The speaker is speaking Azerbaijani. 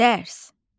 Dərs.